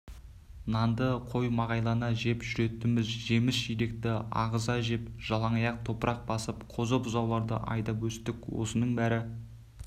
нанды қоймағайлана жеп жүретінбіз жеміс-жидекті ағыза жеп жалаңаяқ топырақ басып қозы-бұзауларды айдап өстік осының бәрі